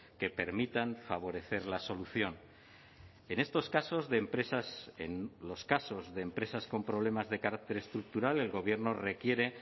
que permitan favorecer la solución en estos casos de empresas en los casos de empresas con problemas de carácter estructural el gobierno requiere